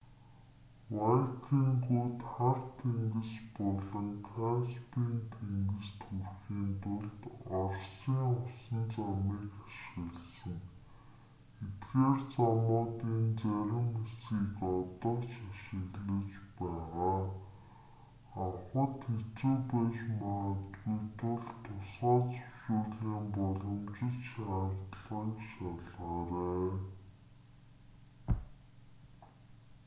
вайкингууд хар тэнгис болон каспийн тэнгист хүрэхийн тулд оросын усан замыг ашигласан эдгээр замуудын зарим хэсгийг одоо ч ашиглаж байгаа авахад хэцүү байж магадгүй тул тусгай зөвшөөрлийн боломжит шаардлагыг шалгаарай